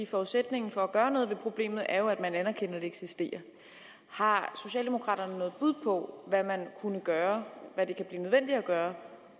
forudsætningen for at gøre noget ved problemet er jo at man anerkender at det eksisterer har socialdemokraterne noget bud på hvad man kunne gøre hvad det kan blive nødvendigt at gøre